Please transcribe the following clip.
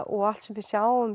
og allt sem við sjáum